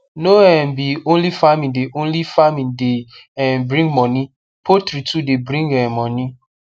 no um be only farming de only farming de um bring moni poultry too de bring um moni